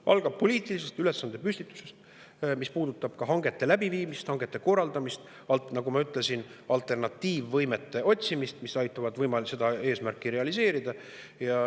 See algab poliitilisest ülesandepüstitusest, mis puudutab ka hangete läbiviimist ja hangete korraldamist, nagu ma ütlesin, alternatiivvõimete otsimist, mis aitavad seda eesmärki realiseerida.